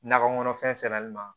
Nakɔ kɔnɔfɛn sɛnɛli ma